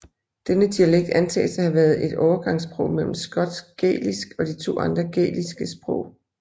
Denne dialekt antages at have været et overgangssprog mellem skotsk gælisk og de to andre gæliske sprog